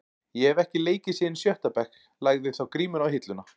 Ég hef ekki leikið síðan í sjötta bekk, lagði þá grímuna á hilluna.